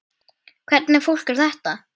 Hvernig fólk er þetta?